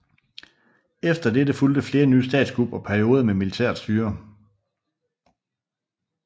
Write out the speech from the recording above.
Efter dette fulgte flere nye statskup og perioder med militært styre